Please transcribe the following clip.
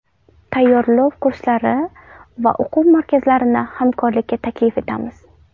Tayyorlov kurslari va o‘quv markazlarini hamkorlikka taklif etamiz.